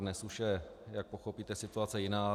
Dnes už je, jak pochopíte, situace jiná.